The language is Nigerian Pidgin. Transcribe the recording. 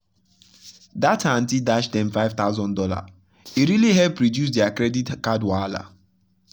that her aunty dash dem 5000 dollar e really help reduce their credit card wahala.